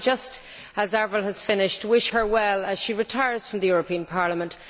Can I just, as Avril has finished, wish her well as she retires from the European Parliament.